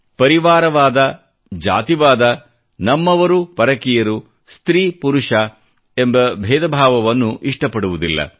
ಪರಿವಾರವಾದ ಜಾತಿವಾದ ನಮ್ಮವರು ಪರಕೀಯರು ಸ್ತ್ರೀ ಪುರುಷ ಎಂಬ ಬೇಧಭಾವವನ್ನು ಇಷ್ಟಪಡುವುದಿಲ್ಲ